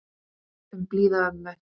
Um blíða ömmu.